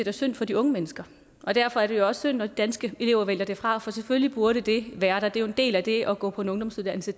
er synd for de unge mennesker og derfor er det også synd når de danske elever vælger det fra for selvfølgelig burde det være der da en del af det at gå på en ungdomsuddannelse